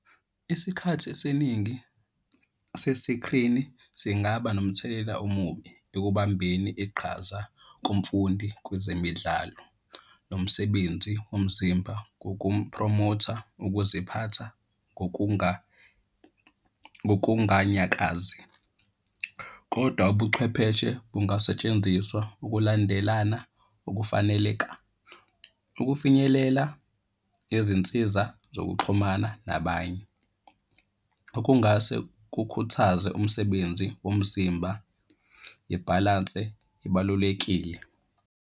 Isikhathi esiningi sesikrini singaba nomthelela omubi ekubambeni iqhazayo kumfundi kwezemidlalo. Nomsebenzi womzimba ngokumphromotha ukuziphatha ngokunganyakazi, kodwa ubuchwepheshe bungasetshenziswa ukulandelana ukufaneleka. Ukufinyelela ngezinsiza zokuxhumana nabanye okungase kukhuthaze umsebenzi womzimba, ibhalanse ibalulekile.